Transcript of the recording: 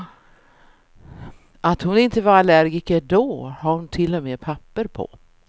Att hon inte var allergiker då har hon till och med papper på.